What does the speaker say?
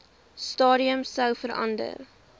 stadium sou verander